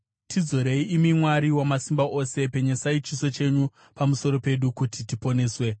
Tidzorei, imi Mwari Wamasimba Ose; penyesai chiso chenyu pamusoro pedu, kuti tiponeswe.